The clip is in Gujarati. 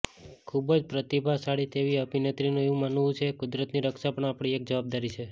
ખુબજ પ્રતિભાશાળી તેવી અભિનેત્રીનું એવું માનવું છે કુદરતની રક્ષા પણ આપણી એક જવાબદારી છે